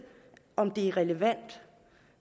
om det er relevant og